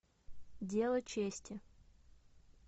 дело чести